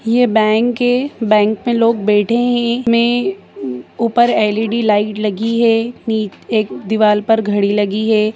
ये बैंक है बैंक में लोग बैठे है में ऊपर एलईडी लाइट लगी हैं एक दीवार पर घड़ी लगी है